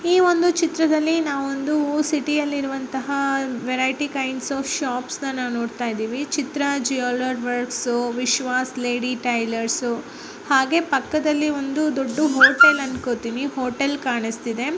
ಈ ಒಂದು ಚಿತ್ರದಲ್ಲಿ ನಾವು ಒಂದು ಸಿಟಿ ಅಲ್ಲಿ ಇರುವಂತಹ ವೆರೈಟಿ ಗೈಡ್ಸ್ ಆಫ್ ಶೋಪ್ಸ್ನಾ ನೋಡ್ತಾ ಇದೀವಿ Chitra jewellers Vishwas lady tailors ಹಾಗೆ ಪಕ್ಕದಲ್ಲಿ ಒಂದು ದೊಡ್ಡದು ಹೋಟೆಲ್ ಅನ್ಕೋತೀನಿ ಹೋಟೆಲ್ ಕಾಣುಸ್ತಿದೆ.